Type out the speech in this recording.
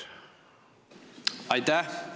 Aitäh!